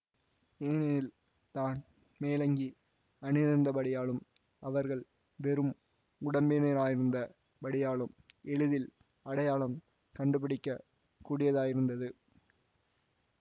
ஏனெனில் தான் மேலங்கி அணிந்திருந்தபடியாலும் அவர்கள் வெறும் உடம்பினராயிருந்த படியாலும் எளிதில் அடையாளம் கண்டுபிடிக்கக் கூடியதாயிருந்தது